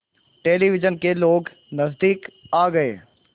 television के लोग नज़दीक आ गए